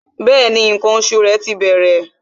Bẹẹni, ǹkan oṣù rẹ ti bẹ̀rẹ̀